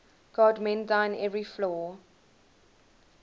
god mend thine every flaw